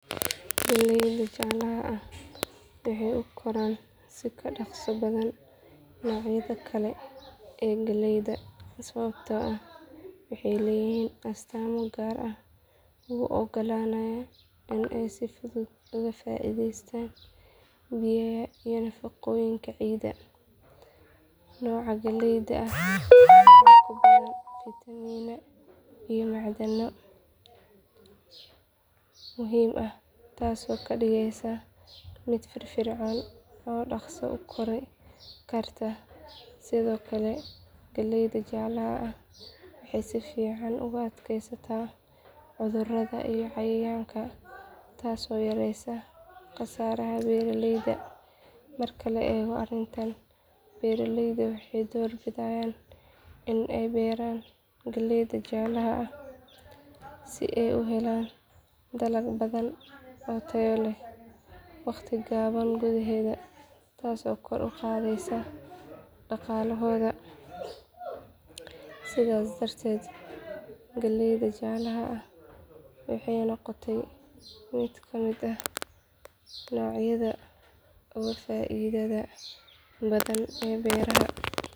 Galleyda jaalaha ah waxay u koraan si ka dhaqso badan noocyada kale ee galleyda sababtoo ah waxay leeyihiin astaamo gaar ah oo u oggolaanaya in ay si fudud uga faa’iidaystaan biyaha iyo nafaqooyinka ciidda. Noocan galleyda ah waxaa ku badan fiitamiinada iyo macdanta muhiimka ah taasoo ka dhigaysa mid firfircoon oo dhaqso u kori karta. Sidoo kale galleyda jaalaha ah waxay si fiican uga adkaysataa cudurrada iyo cayayaanka taasoo yareysa khasaaraha beeralayda. Marka la eego arrintan beeralayda waxay doorbidaan in ay beeraan galleyda jaalaha ah si ay u helaan dalag badan oo tayo leh waqti gaaban gudaheed taasoo kor u qaadaysa dhaqaalahooda. Sidaas darteed galleyda jaalaha ah waxay noqotay mid ka mid ah noocyada ugu faa’iidada badan ee beeraha.